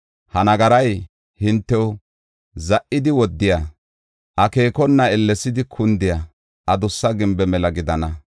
ha nagaray hintew za77idi woddiya, akeekona ellesidi kundiya adussa gimbe mela gidana.